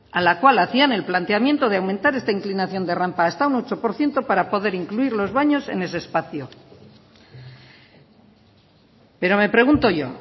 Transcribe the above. a la cual hacían el planteamiento de aumentar esta inclinación de rampa hasta un ocho por ciento para poder incluir los baños en ese espacio pero me pregunto yo